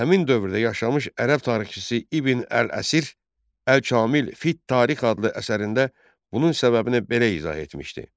Həmin dövrdə yaşamış ərəb tarixçisi İbn əl-Əsir Əl-Kamil fit Tarix adlı əsərində bunun səbəbini belə izah etmişdi: